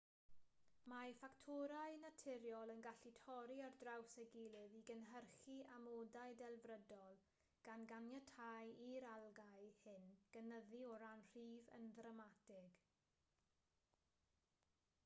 mae ffactorau naturiol yn gallu torri ar draws ei gilydd i gynhyrchu amodau delfrydol gan ganiatáu i'r algâu hyn gynyddu o ran rhif yn ddramatig